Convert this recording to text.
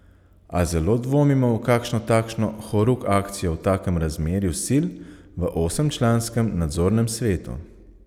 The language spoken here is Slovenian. A zelo dvomimo v kakšno takšno horuk akcijo v takem razmerju sil v osemčlanskem nadzornem svetu.